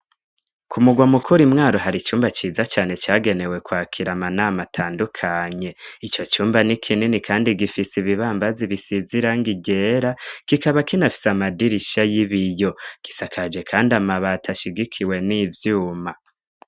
Ku murwa mukuru Imwaro hari icumba ciza cane cagenewe kwakira amanama atandukanye. Ico cumba n'ikinini kandi gifise ibibambazi bisize irangi ryera, kikaba kinafise amadirisha y'ibiyo. Kisakaje kandi amabati ashigikiwe n'ivyuma.